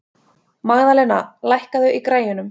Magðalena, lækkaðu í græjunum.